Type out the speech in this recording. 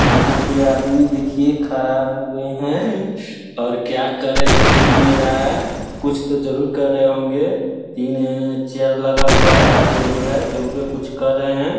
यहाँ पे आदमी देखिये खड़ा हुए हैं और क्या कर रहे वो दिख नहीं रहा हैं कुछ तो जरूर कर रहे होंगें तीन चेयर लगा हुआ हैं एक टेबुल हैं टेबुल पे कुछ कर रहे हैं।